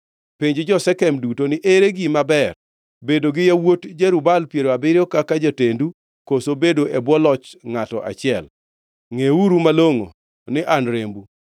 “Penj jo-Shekem duto ni, ‘Ere gima ber: bedo gi yawuot Jerub-Baal piero abiriyo kaka jotendu, koso bedo e bwo loch ngʼato achiel?’ Ngʼeuru malongʼo ni an rembu.”